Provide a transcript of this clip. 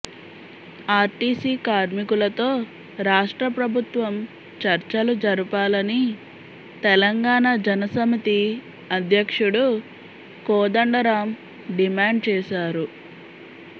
RTC కార్మికులతో రాష్ట్ర ప్రభుత్వం చర్చలు జరుపాలని తెలంగాణ జన సమితి అధ్యక్షుడు కోదండరాం డిమాండ్ చేశారు